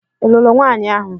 Ị lụrụ nwanyi ahu?